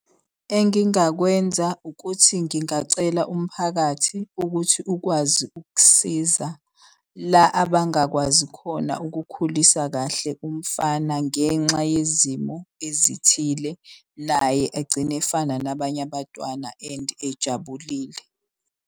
Engingakwenza ukuthi ngingacela umphakathi ukuthi ukwazi ukusiza la abangakwazi khona ukukhulisa kahle umfana. Ngenxa yezimo ezithile naye egcine efana nabanye abatwana and ejabulile.